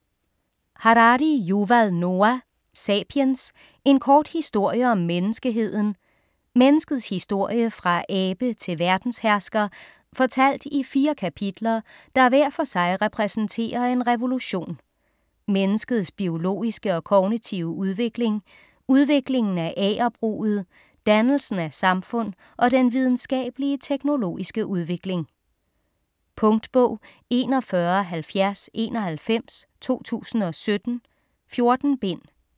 Harari, Yuval Noah: Sapiens: en kort historie om menneskeheden Menneskets historie fra abe til verdenshersker fortalt i fire kapitler der hver for sig repræsenterer en revolution: menneskets biologiske og kognitive udvikling, udviklingen af agerbruget, dannelsen af samfund og den videnskabelige/teknologiske udvikling. Punktbog 417091 2017. 14 bind.